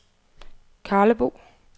Karlebo